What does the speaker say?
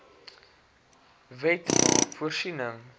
wet maak voorsiening